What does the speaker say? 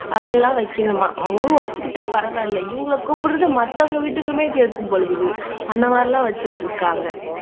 அதெல்லாம் வைக்கணுமாம் அவங்கவங்க வச்சுக்கிட்டா பரவாயில்லை இவங்களை கூப்பிடுறது மத்தவங்க வீட்டுக்குமே கேட்கும் போல இருக்குது அந்த மாதிரி எல்லாம் வச்சிட்டு இருக்காங்க